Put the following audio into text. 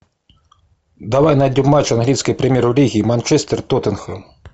давай найдем матч английской премьер лиги манчестер тоттенхэм